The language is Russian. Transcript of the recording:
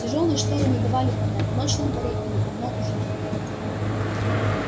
тяжёлые шторы не давали понять ночь на дворе или давно уже день